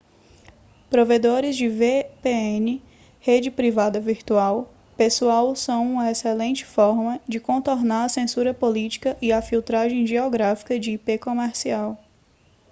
provedores de vpn rede privada virtual pessoal são uma excelente forma de contornar a censura política e a filtragem geográfica de ip comercial